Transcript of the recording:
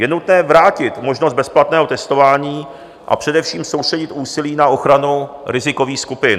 Je nutné vrátit možnost bezplatného testování, a především soustředit úsilí na ochranu rizikových skupin.